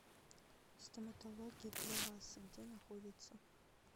стоматология для вас где находится